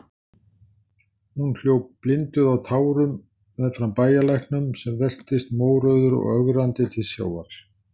Hún hljóp blinduð af tárum meðfram bæjarlæknum, sem veltist mórauður og ögrandi til sjávar.